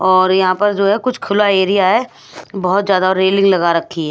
और यहां पर जो है कुछ खुला एरिया है बहुत ज्यादा रेलिंग लगा रखी है।